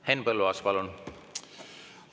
Henn Põlluaas, palun!